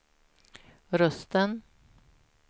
rösten